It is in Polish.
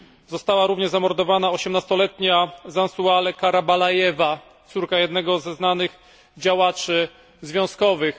Została również zamordowana 18 letnia Zhansaule Karabalaeva, córka jednego ze znanych działaczy związkowych.